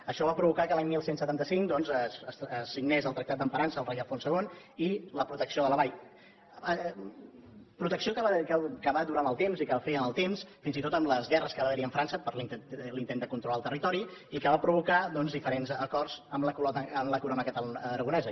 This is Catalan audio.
això va provocar que l’any onze setanta cinc es signés el tractat d’emparança al rei alfons ii i la protecció de la vall protecció que va durar en el temps i que va fer en el temps fins i tot en les guerres que va haver hi amb frança per intent de controlar el territori i que van provocar doncs diferents acords amb la corona aragonesa